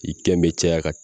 I kɛn bɛ caya